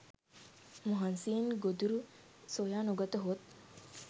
මහන්සියෙන් ගොදුරු සොයා නොගතහොත්